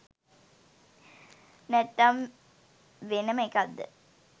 නැත්තන් වෙනම එකක්ද